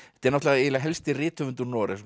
eiginlega helsti rithöfundur Noregs og